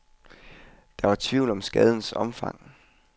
Der var tvivl om skadens omfang.